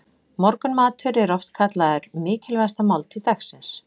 Morgunmatur er oft kallaður mikilvægasta máltíð dagsins.